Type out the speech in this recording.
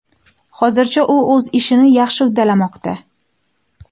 Hozircha u o‘z ishini yaxshi uddalamoqda.